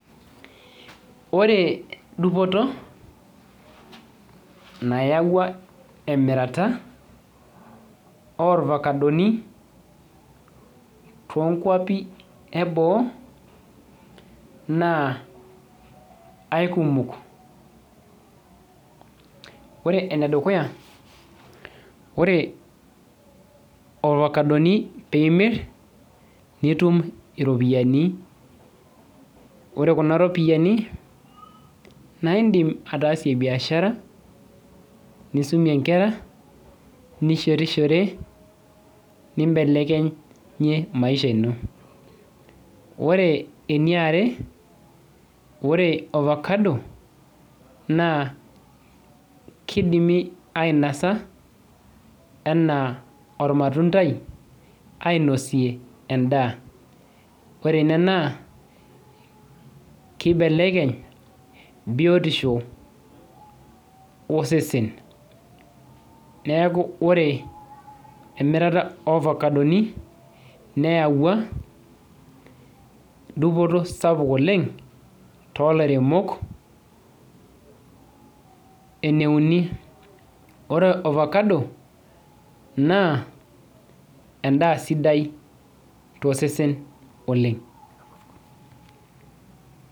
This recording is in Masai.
oree dupoto nyaua emirata oorvacadoni too nkuapii eboo naa kaikumok koree enedekuya ore orvacadoni keyau iripoyiani nidim atasie biashara nisumie inkera nishitishorie nibelekenyie maisha ino, koree eniare naa koree ovacadoni kidimi ainosaa enaa ormatundaii naaa ainosie endaa keyau biotishoo osesen, niaku koree emirata ooavacadoni neyawua dupoto sapuk oleng, koree ene uni koree ovacadonii naa endaa sida oleng.